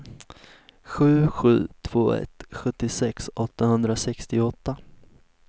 sju sju två ett sjuttiosex åttahundrasextioåtta